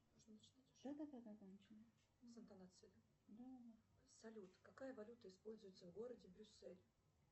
салют какая валюта используется в городе брюссель